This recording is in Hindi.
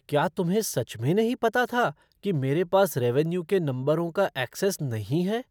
क्या तुम्हें सच में नहीं पता था कि मेरे पास रेवेन्यू के नंबरों का ऐक्सेस नहीं है?